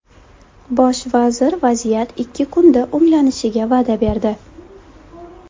Bosh vazir vaziyat ikki kunda o‘nglanishiga va’da berdi.